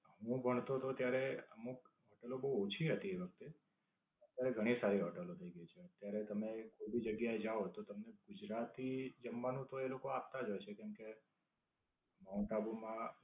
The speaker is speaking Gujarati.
હું ભણતો તો ત્યારે અમુક હોટેલો બવ ઓછી હતી આપડે. અત્યારે ઘણી સારી હોટેલો થઇ ગઈ છે. અત્યારે તમે કોઈ ભી જગ્યા એ જાઓ તો તમને ગુજરાતી જમવાનું તો એ લોકો આપતા જ હશે. જેમકે, માઉન્ટ આબુમાં